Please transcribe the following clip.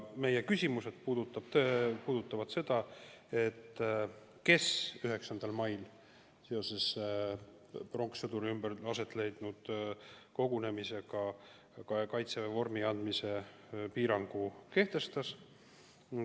Meie küsimused puudutavad seda, kes 9. mail seoses pronkssõduri ümber aset leidnud kogunemisega Kaitseväe vormi kandmise piirangu kehtestas.